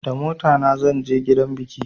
Da motana zan je gidan biki